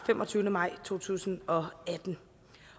femogtyvende maj to tusind og atten